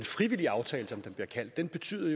frivillige aftale som den bliver kaldt betyder